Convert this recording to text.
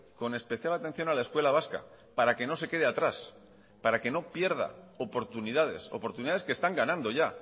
con especial atención a la escuela vasca para que no se quede atrás para que no pierda oportunidades oportunidades que están ganando ya